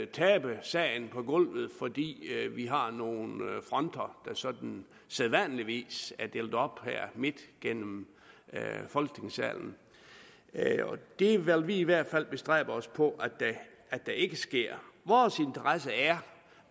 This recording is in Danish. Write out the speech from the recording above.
tabe sagen på gulvet fordi vi har nogle fronter der sådan sædvanligvis er delt op her midt gennem folketingssalen det vil vi i hvert fald bestræbe os på ikke sker vores interesse er